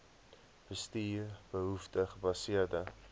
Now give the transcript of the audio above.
bestuur behoefte gebaseerde